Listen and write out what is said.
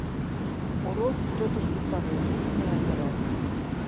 уроки тетушки совы утренняя зарядка